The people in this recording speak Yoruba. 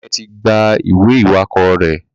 Daniel tí gbà ìwé iwakọ rẹ.